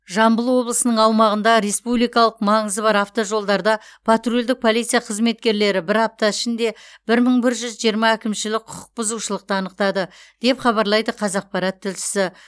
жамбыл облысының аумағында республикалық маңызы бар автожолдарда патрульдік полиция қызметкерлері бір апта ішінде бір мың бір жүз жиырма әкімшілік құқық бұзушылықты анықтады деп хабарлайды қазақпарат тілшісі